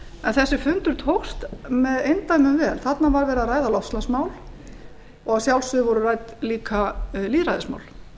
en þessi fundur tókst með eindæmum vel þarna var verið að ræða loftslagsmál og að sjálfsögðu voru rædd líka lýðræðismál